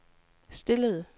stillede